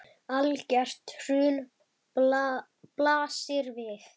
Algert hrun blasir við.